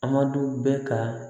Adamadenw bɛ ka